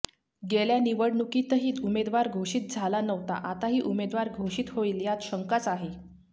गेल्या निवडणूकीतही उमेदवार घोषित झाला नव्हता आताही उमेदवार घोषित होईल यात शंकाच आहे